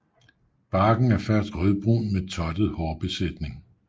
Barken er først rødbrun med tottet hårbesætning